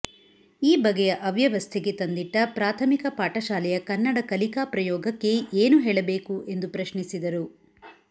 ಈ ಬಗೆಯ ಅವ್ಯವಸ್ಥೆಗೆ ತಂದಿಟ್ಟ ಪ್ರಾಥಮಿಕ ಪಾಠಶಾಲೆಯ ಕನ್ನಡ ಕಲಿಕಾ ಪ್ರಯೋಗಕ್ಕೆ ಏನು ಹೇಳಬೇಕು ಎಂದು ಪ್ರಶ್ನಿಸಿದರು